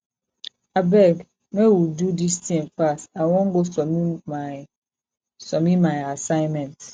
abeg make we do dis thing fast i wan go submit my submit my assignment